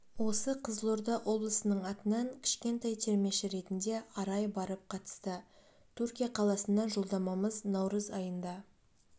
осы қызылорда облысының атынан кішкентай термеші ретінде арай барып қатысты түркия қаласына жолдамамыз наурыз айында